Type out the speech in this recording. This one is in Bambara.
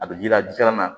A bɛ ji la ji kalama